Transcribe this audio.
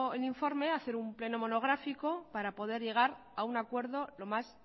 el informe hacer un pleno monográfico para poder llegar a un acuerdo lo más